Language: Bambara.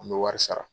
An bɛ wari sara